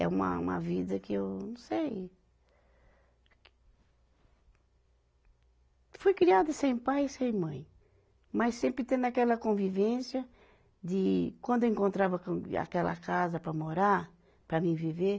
É uma, uma vida que eu não sei. Fui criada sem pai e sem mãe, mas sempre tendo aquela convivência de quando eu encontrava aquele, aquela casa para morar, para mim viver,